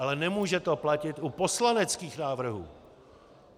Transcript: Ale nemůže to platit u poslaneckých návrhů.